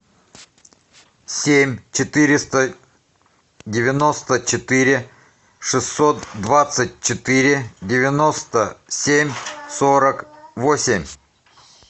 семь четыреста девяносто четыре шестьсот двадцать четыре девяносто семь сорок восемь